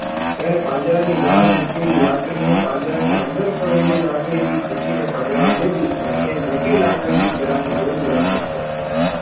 એને પાંજરાની બહાર મુકેલી લાકડીને પાંજરાની અંદર પડેલી લાકડીથી ખેંચીને પાંજરામાં લીધી અને તે મોટી લાકડી થી કેળાની લૂમ લેવાનો પ્રયત્ન કર્યો